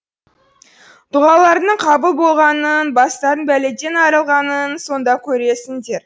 дұғаларыңның қабыл болғанын бастарың бәледен арылғанын сонда көресіңдер